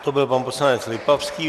To byl pan poslanec Lipavský.